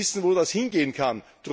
Wir wissen, wo das hinführen kann.